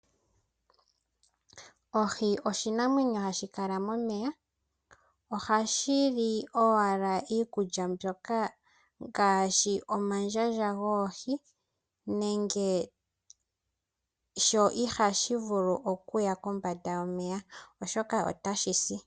Ohi oshinamwenyo hashi kala momeya. Ohashi li owala iikulya mbyoka ngaashi omandjandja goohi sho ihashi vulu okukala kombanda yomeya otashi si.